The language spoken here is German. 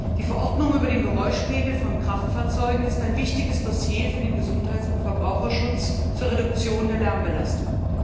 Die Verordnung über den Geräuschpegel von Kraftfahrzeugen ist ein wichtiges Dossier für den Gesundheits und Verbraucherschutz zur Reduktion der Lärmbelastung.